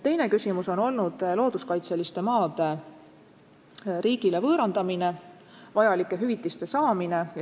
Teine küsimus on olnud looduskaitseliste piirangutega maade riigile võõrandamine ja vajalike hüvitiste saamine.